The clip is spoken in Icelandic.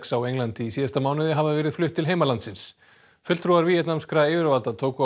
á Englandi í síðasta mánuði hafa verið flutt til heimalandsins fulltrúar víetnamskra yfirvalda tóku á